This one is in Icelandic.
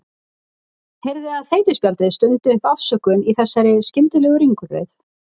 Heyrði að þeytispjaldið stundi upp afsökun í þessari skyndilegu ringulreið.